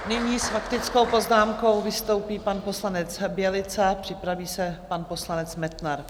Nyní s faktickou poznámkou vystoupí pan poslanec Bělica, připraví se pan poslanec Metnar.